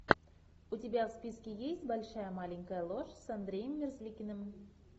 у тебя в списке есть большая маленькая ложь с андреем мерзликиным